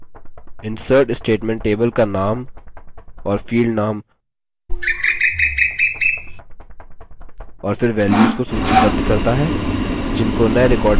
insert statement table का name और field name और फिर values को सूचीबद्ध करता है जिनको नये record में जाने की आवश्यकता है